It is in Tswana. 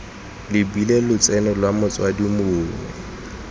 lebilwe lotseno lwa motsadi mongwe